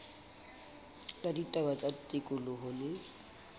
la ditaba tsa tikoloho le